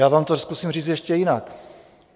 Já vám to zkusím říct ještě jinak.